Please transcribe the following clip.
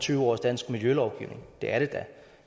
tyve års dansk milijølovgivning det er det da